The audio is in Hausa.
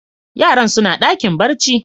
Yaran suna dakin barci.